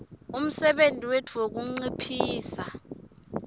umsebenti wetfu wekunciphisa